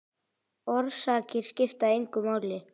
Orsakir skipta engu máli.